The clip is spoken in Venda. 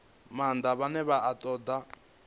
maanḓa vhane vha ṱoḓa ngeletshedzo